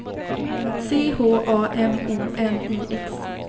C H A M O N I X